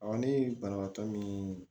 ne ye banabaatɔ min